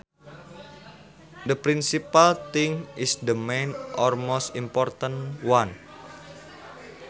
The principal thing is the main or most important one